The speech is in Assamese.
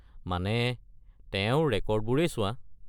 মানে, তেওঁৰ ৰেকৰ্ডবোৰেই চোৱা।